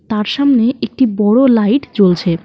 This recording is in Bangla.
তার সামনে একটি বড় লাইট জ্বলছে।